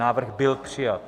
Návrh byl přijat.